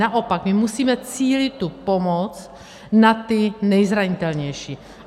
Naopak my musíme cílit tu pomoc na ty nejzranitelnější.